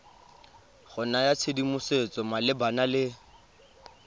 go naya tshedimosetso malebana le